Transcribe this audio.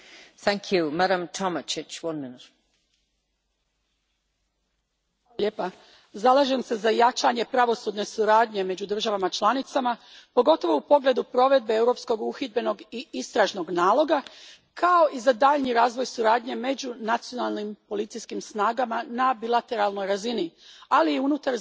Gospođo predsjednice, zalažem se za jačanje pravosudne suradnje među državama članicama, pogotovo u pogledu provedbe Europskog uhidbenog i istražnog naloga, kao i za daljnji razvoj suradnje među nacionalnim policijskim snagama na bilateralnoj razini, ali i unutar zajedničkih instrumenata poput Europola ili Eurosura.